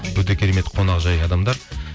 өте керемет қонақжай адамдар